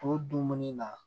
O dumuni na